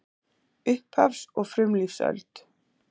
Upphafs- og frumlífsöld